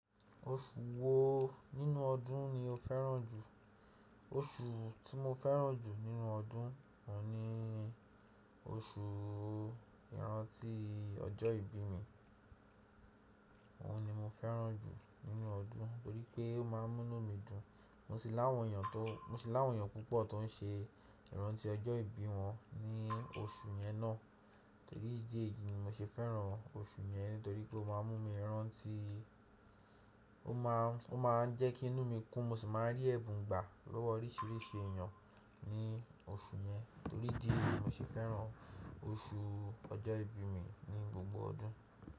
Oṣù wo nínú ọdún ni o fẹ́ràn jù? Oṣù tí mo fẹ́ràn jù nínú ọdún, òun ni oṣù ìrántí ọjọ́ ìbí mi. Òun ni mo fẹ́ràn jù nínú ọdún nitorí pé ó máa ń mú inú mi dùn. Mo sì láwọn èèyàn tó, mo sì láwọn èèyàn púpọ̀ tó ń ṣe ìrántí ọjọ́ ìbí wọn ní oṣù yẹn náà. Torí dí èyí ni mo ṣe fẹ́ràn oṣù yẹn nítorí pé ó máa ń mú mi rántí, ó máa, ó máa ń jẹ́ kí inú mi kún mo sì máa rí ẹ̀bùn gbà lọ́wọ́ oríṣiríṣi èèyàn ní oṣù yẹn. Torí dí èyí ni mo ṣe fẹ́ràn oṣù ọjọ́ ìbí mi ní gbogbo ọdún.